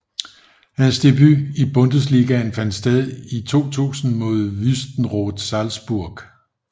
Hans debut i Bundesligaen fandt sted i 2000 mod Wüstenrot Salzburg